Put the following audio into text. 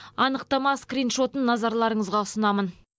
анықтама скриншотын назарларыңызға ұсынамын